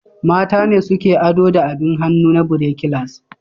Mata ne suke ado da abin hannu na birekilas.